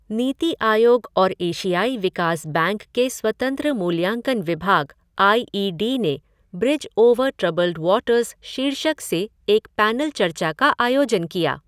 नीति आयोग और एशियाई विकास बैंक के स्वतंत्र मूल्यांकन विभाग आइ ई डी ने ब्रिज ओवर ट्रबल्ड वाटर्स शीर्षक से एक पैनल चर्चा का आयोजन किया।